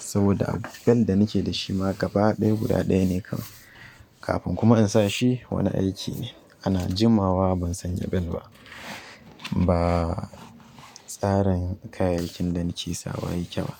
saboda a bel da nake dashi ma gaba ɗaya guda ɗaya ne kawai. Kafin kuma in sa shi wani aiki ne ana jimawa ban sanya bel ba. Ba tsarin kayayyakin da nake sawa yake ba.